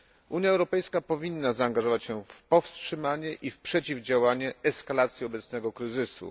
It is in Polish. Unia Europejska powinna zaangażować się w powstrzymanie i w przeciwdziałanie eskalacji obecnego kryzysu.